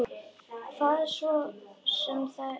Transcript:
Hvað svo sem það er.